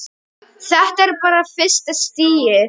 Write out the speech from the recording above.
Þetta er bara fyrsta stigið.